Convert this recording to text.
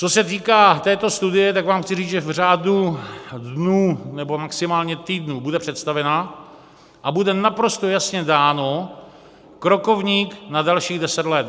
Co se týká této studie, tak vám chci říct, že v řádu dnů nebo maximálně týdnů bude představena a bude naprosto jasně dáno - krokovník na dalších deset let.